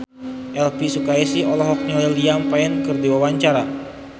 Elvi Sukaesih olohok ningali Liam Payne keur diwawancara